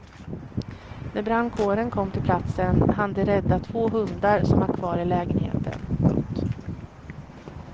När brandkåren kom till platsen hann de rädda två hundar som var kvar i lägenheten. punkt